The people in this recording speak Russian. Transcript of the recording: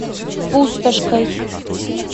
пустошкой